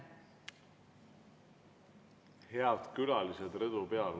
Head külalised rõdu peal!